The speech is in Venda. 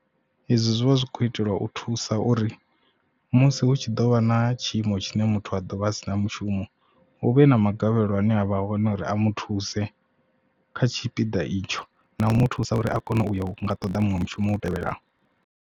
Ezwi zwi vha zwi kho itelwa u thusa uri musi hu tshi ḓo vha na tshiimo tshine muthu a ḓovha a si na mushumo u vhe na magavhelo ane avha hone uri a muthuse kha tshipiḓa itsho na u mu thusa uri a kone u ṱoḓa muṅwe mushumo u tevhelaho.